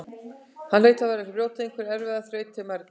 Hann hlaut að vera að brjóta einhverja erfiða þraut til mergjar.